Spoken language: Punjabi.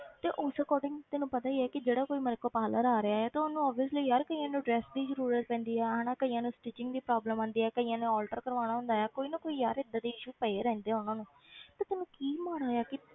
ਤੇ ਉਸ according ਤੈਨੂੰ ਪਤਾ ਹੀ ਹੈ ਕਿ ਜਿਹੜਾ ਕੋਈ ਮੇਰੇ ਕੋਲ parlour ਆ ਰਿਹਾ ਹੈ ਤੇ ਉਹਨੂੰ obviously ਯਾਰ ਕਈਆਂ ਨੂੰ dress ਦੀ ਜ਼ਰੂਰਤ ਪੈਂਦੀ ਹੈ ਹਨਾ ਕਈਆਂ ਨੂੰ stitching ਦੀ problem ਆਉਂਦੀ ਆ ਕਈਆਂ ਨੇ alter ਕਰਵਾਉਣਾ ਹੁੰਦਾ ਹੈ ਕੋਈ ਨਾ ਕੋਈ ਯਾਰ ਏਦਾਂ ਦੇ issue ਪਏ ਰਹਿੰਦੇ ਆ ਉਹਨਾਂ ਨੂੰ ਤੇ ਤੈਨੂੰ ਕੀ ਮਾੜਾ ਹੈ ਕਿ